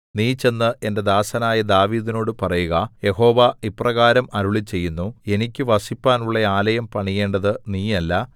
നീ ചെന്ന് എന്റെ ദാസനായ ദാവീദിനോടു പറയുക യഹോവ ഇപ്രകാരം അരുളിച്ചെയ്യുന്നു എനിക്ക് വസിപ്പാനുള്ള ആലയം പണിയേണ്ടത് നീയല്ല